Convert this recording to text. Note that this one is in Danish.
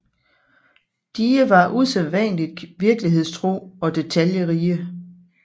Die var usædvanligt virkelighedstro og detaljerige